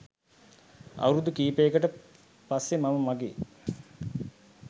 අවුරුදු කිහිපයකට පස්සේ මම මගේ